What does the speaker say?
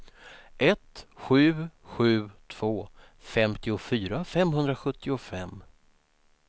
ett sju sju två femtiofyra femhundrasjuttiofem